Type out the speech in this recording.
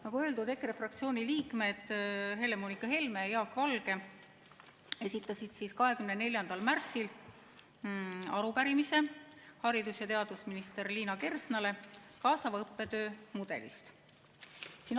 Nagu öeldud, EKRE fraktsiooni liikmed Helle-Moonika Helme ja Jaak Valge esitasid 24. märtsil haridus- ja teadusminister Liina Kersnale arupärimise kaasava õppetöö mudeli kohta.